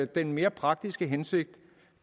den mere praktiske hensigt